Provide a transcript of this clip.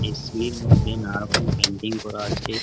এ. C -এর মধ্যে নানারকম পেইন্টিং করা আছে ।